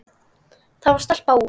Það var stelpa úr